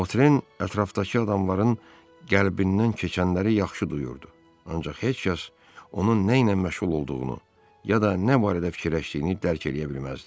Votren ətrafdakı adamların qəlbindən keçənləri yaxşı duyurdu, ancaq heç kəs onun nə ilə məşğul olduğunu, ya da nə barədə fikirləşdiyini dərc eləyə bilməzdi.